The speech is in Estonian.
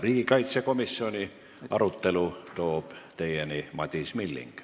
Riigikaitsekomisjoni arutelu toob teieni Madis Milling.